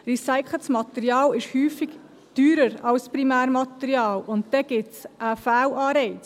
Recyceltes Material ist häufig teurer als Primärmaterial, und dadurch entsteht ein Fehlanreiz.